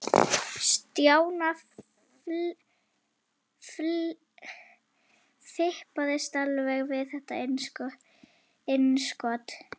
Stjána fipaðist alveg við þetta innskot.